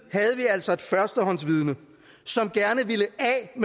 altså et førstehåndsvidne som gerne ville